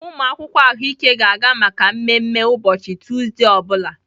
Umụ akwụkwọ ahụike ga-aga maka mmemme ụbọchị Tuzdee ọ bụla.